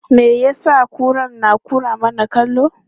Me ya sa kuran ke kwara mana kallo?